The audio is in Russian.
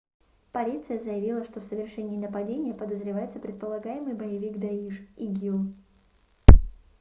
полиция заявила что в совершении нападения подозревается предполагаемый боевик даиш игил